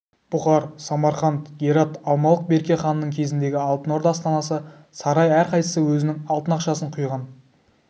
бұқар самарқант герат алмалық берке ханның кезіндегі алтын орда астанасы сарай әрқайсысы өзінің алтын ақшасын құйған